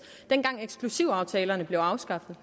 dengang eksklusivaftalerne blev afskaffet